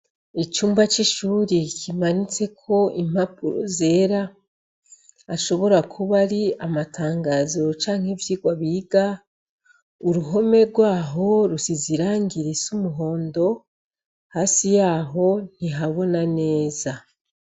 Icumba c'ishuri kimanitseko impapuro zera ashobora kuba ari amatangazo canke ivyigwa biga uruhome gwaho rusize irangi risa umuhondo hasi yaho ntihabona neza.